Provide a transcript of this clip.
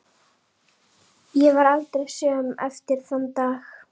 Ég varð aldrei söm eftir þann dag.